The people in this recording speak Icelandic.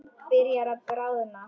Byrjar að bráðna.